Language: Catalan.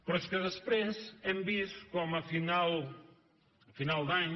però és que després hem vist com a final d’any